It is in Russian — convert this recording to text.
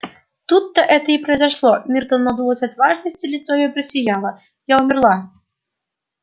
тут-то это и произошло миртл надулась от важности лицо её просияло я умерла